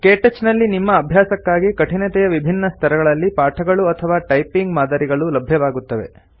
ಕೆಟಚ್ ನಲ್ಲಿ ನಿಮ್ಮ ಅಭ್ಯಾಸಕ್ಕಾಗಿ ಕಠಿನತೆಯ ವಿಭಿನ್ನ ಸ್ತರಗಳಲ್ಲಿ ಪಾಠಗಳು ಅಥವಾ ಟೈಪಿಂಗ್ ಮಾದರಿಗಳು ಲಭ್ಯವಾಗುತ್ತವೆ